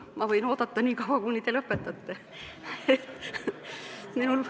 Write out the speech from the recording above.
Ma võin oodata nii kaua, kuni te lõpetate.